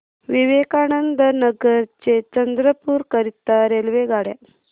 विवेकानंद नगर ते चंद्रपूर करीता रेल्वेगाड्या